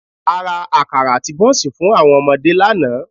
A ra àkàrà àti bọ́ńsì fún àwọn ọmọdé lánàá